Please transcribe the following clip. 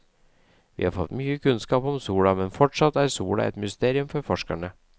Vi har fått mye kunnskap om sola, men fortsatt er sola et mysterium for forskerne.